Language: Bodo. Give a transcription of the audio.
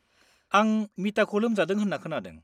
आं मिताखौ लोमजादों होन्ना खोनादों।